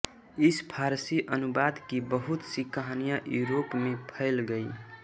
इस फारसी अनुवाद की बहुत सी कहानियाँ यूरोप में फैल गई